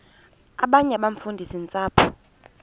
abanye abafundisi ntshapo